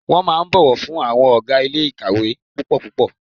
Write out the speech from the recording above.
Wọ́n máa ń bọ̀wọ̀ fún àwọn ọ̀gá ilé ìkàwé púpọ̀ púpọ̀.